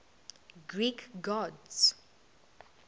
greek gods